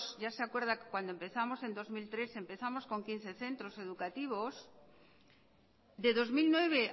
ya se acuerda que cuando empezamos en dos mil trece empezamos con quince centros educativos de dos mil nueve